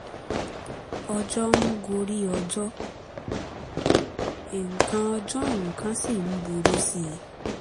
ọjọ́ ń gorí ọjọ́ nǹkan ọjọ́ nǹkan sì ń burú sí i